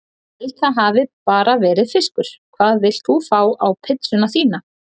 Held það hafi bara verið fiskur Hvað vilt þú fá á pizzuna þína?